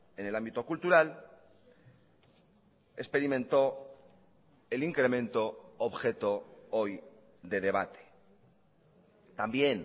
en el ámbito cultural experimentó el incremento objeto hoy de debate también